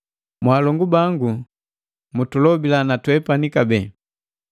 Mwaalongu bangu mutulobila na twepani kabee.